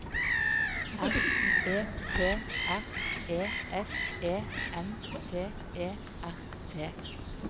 R E P R E S E N T E R T